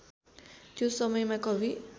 त्यो समयमा कवि